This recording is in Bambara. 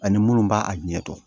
Ani munnu b'a a ɲɛ dɔn